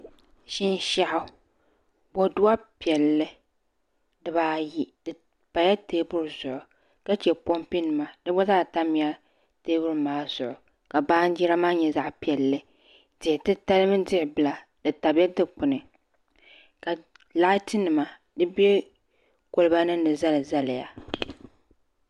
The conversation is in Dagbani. Shinshaɣu boduwa piɛlli dibaayi di pala teebuli zuɣu ka chɛ pompi nima di gba zaa tamla teebuli maa zuɣu ka baanjira maa nyɛ zaɣ piɛlli diɣi titali mini diɣi bila di tabila dikpuni ka laati nima di bɛ kolba nim ni zali zaliya